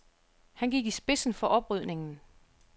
Han gik i spidsen for oprydningen.